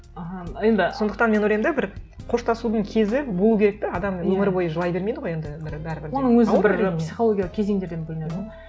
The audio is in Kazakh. аха енді сондықтан мен ойлаймын да бір қоштасудың кезі болу керек те адам өмір бойы жылай бермейді ғой енді бір бәрібір де оның өзі бір психологиялық кезеңдерден бөлінеді ғой